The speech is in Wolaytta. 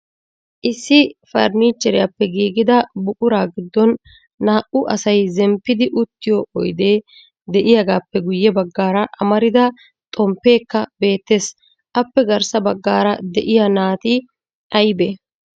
Issi farnnicheriyaappe giigida buquraa giddon naa"u asay zemppidi uttiyo oydde de'iyaagappe guyye baggaara amarida xomppekka beettees. Appe garssa baggaara de'iyaa naa"ati aybbe?